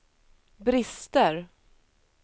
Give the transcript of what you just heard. brister